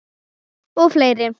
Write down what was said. Og fleiri.